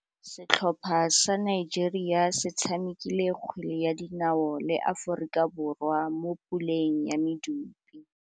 Setlhopha sa Nigeria se tshamekile kgwele ya dinaô le Aforika Borwa mo puleng ya medupe.